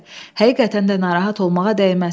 Həqiqətən də narahat olmağa dəyməz.